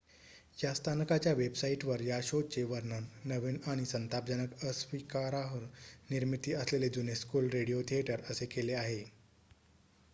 "या स्थानकाच्या वेबसाईटवर या शोचे वर्णन "नवीन आणि संतापजनक अस्विकारार्ह निर्मिती असलेले जुने स्कूल रेडिओ थिएटर" असे केले आहे.